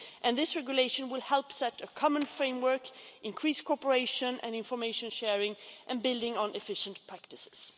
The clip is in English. This regulation will help set a common framework, increase cooperation and information sharing and building on efficient practices.